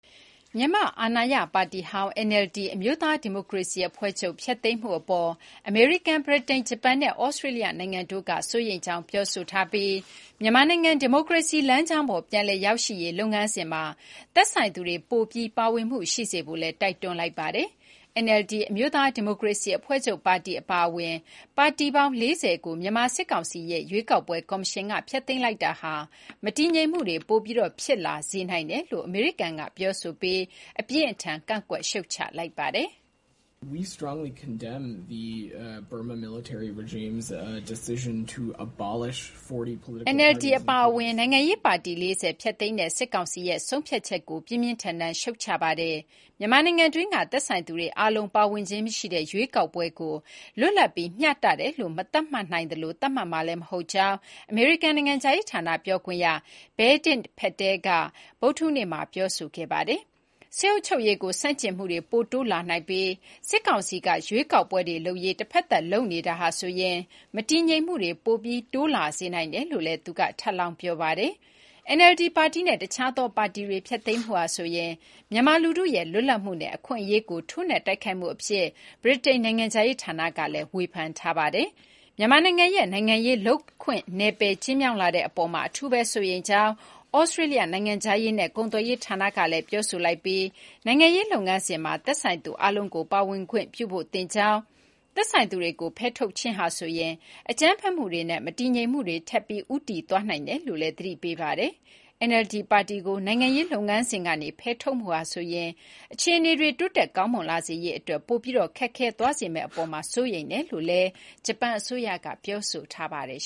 မြန်မာ့အာဏာရပါတီဟောင်း NLD အမျိုးသားဒီမိုကရေစီအဖွဲ့ချုပ် ဖျက်သိမ်းမှုအပေါ် အမေရိကန်၊ ဗြိတိန်၊ ဂျပန်နဲ့ သြစတြေးလျနိုင်ငံတို့က စိုးရိမ်ကြောင်းပြောဆိုထားပြီး မြန်မာနိုင်ငံ ဒီမိုကရေစီလမ်းကြောင်းပေါ် ပြန်လည်ရောက်ရှိရေးလုပ်ငန်းစဉ်မှာ သက်ဆိုင်သူတွေ ပိုပြီး ပါဝင်မှုရှိစေဖို့လည်း တိုက်တွန်းလိုက်ပါတယ်။ NLD အမျိုးသား ဒီမိုကရေစီ အဖွဲ့ချုပ်ပါတီအပါအဝင် ပါတီပေါင်း ၄၀ ကို မြန်မာစစ်ကောင်စီရဲ့ ရွေးကောက်ပွဲကော်မရှင်က ဖျက်သိမ်းလိုက်တာဟာ မတည်ငြိမ်မှုတွေ ပိုပြီးဖြစ်လာစေနိုင်တယ်လို့ အမေရိကန်က ပြောဆိုပြီး အပြင်းအထန် ကန့်ကွက်ရှုတ်ချလိုက်ပါတယ်။ NLD အပါအဝင် နိုင်ငံရေး ပါတီ ၄၀ ဖျက်သိမ်းတဲ့ စစ်ကောင်စီရဲ့ ဆုံးဖြတ်ချက်ကို ပြင်းပြင်းထန်ထန် ရှုတ်ချပါတယ်။ မြန်မာနိုင်ငံတွင်းက သက်ဆိုင်သူတွေအားလုံး ပါဝင်ခြင်းမရှိတဲ့ ရွေးကောက်ပွဲကို လွတ်လပ်ပြီး မျှတတယ်လို့ မသတ်မှတ်နိုင်သလို သတ်မှတ်မှာလည်း မဟုတ်ကြောင်း အမေရိကန်နိုင်ငံခြားရေးဌာန ပြောခွင့်ရ Vedant Patel က ဗုဒ္ဓဟူးနေ့မှာ ပြောဆိုခဲ့ပါတယ်။ စစ်အုပ်ချုပ်ရေးကို ဆန့်ကျင်မှုတွေ ပိုတိုးလာနိုင်ပြီး စစ်ကောင်စီက ရွေးကောက်ပွဲတွေလုပ်ရေး တဖက်သတ်လုပ်နေတာဟာဆိုရင် မတည်ငြိမ်မှုတွေ ပိုပြီး တိုးလာစေနိုင်တယ်လို့လည်း သူက ထပ်လောင်း ပြောပါတယ်။ NLD ပါတီနဲ့ တခြားသောပါတီတွေ ဖျက်သိမ်းမှုဟာဆိုရင် မြန်မာ လူထုရဲ့လွတ်လပ်မှုနဲ့ အခွင့်အရေးကို ထိုးနှက်တိုက်ခိုက်မှုအဖြစ် ဗြိတိန် နိုင်ငံခြားရေးဌာနက ဝေဖန်ပါတယ်။ မြန်မာနိုင်ငံရဲ့ နိုင်ငံရေး လုပ်ခွင့်နယ်ပယ် ကျဉ်းမြောင်းလာတဲ့အပေါ်မှာ အထူးပဲ စိုးရိမ်ကြောင်း သြစတြေးလျနိုင်ငံခြားရေးနဲ့ ကုန်သွယ်ရေးဌာနကလည်း ပြောဆိုလိုက်ပြီး နိုင်ငံရေးလုပ်ငန်းစဉ်မှာ သက်ဆိုင်သူအားလုံးကို ပါဝင်ခွင့်ပြုဖို့ သင့်ကြောင်း၊ သက်ဆိုင်သူတွေကို ဖယ်ထုတ်ခြင်းဟာဆိုရင် အကြမ်းဖက်မှုတွေနဲ့ မတည်ငြိမ်မှုတွေ ထပ်ပြီး ဦးတည်သွားနိုင်တယ်လို့လည်း သတိပေးထားပါတယ်။ NLD ပါတီကို နိုင်ငံရေးလုပ်ငန်းစဉ်ကနေ ဖယ်ထုတ်မှုဟာ အခြေအနေတွေ တိုးတက်ကောင်းမွန်လာစေရေးအတွက် ပိုပြီး ခက်ခဲသွားစေမယ့် အပေါ်မှာ စိုးရိမ်ကြောင်း ဂျပန် အစိုးရကလည်း ပြောဆိုထားပါတယ်